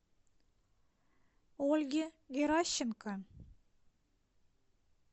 ольге геращенко